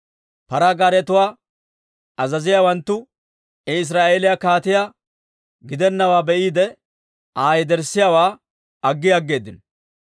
Paraa gaaretuwaa azaziyaawanttu I Israa'eeliyaa kaatiyaa gidennawaa be'iide, Aa yederssiyaawaa aggi aggeeddino.